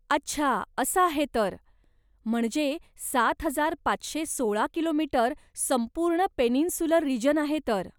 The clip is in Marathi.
अच्छा, असं आहे तर! म्हणजे सात हजार पाचशे सोळा किलो मीटर संपूर्ण पेनिन्सुलर रिजन आहे तर.